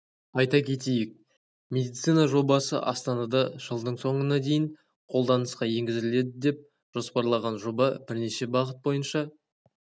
айта кетейік медицина жобасы астанада жылдың соңына дейін қолданысқа енгізіледі деп жоспарланған жоба бірнеше бағыт бойынша